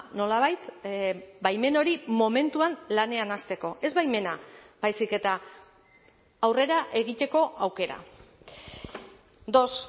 nolabait baimen hori momentuan lanean hasteko ez baimena baizik eta aurrera egiteko aukera dos